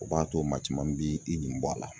O b'a to maa caman b'i i nin bɔ a la.